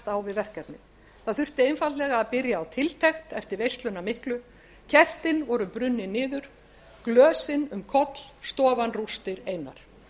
á við verkefnið það þurfti einfaldlega að byrja á tiltekt eftir veisluna miklu kertin voru brunnin niður glösin um koll stofan rústir einar